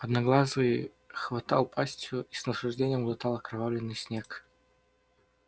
одноглазый хватал пастью и с наслаждением глотал окровавленный снег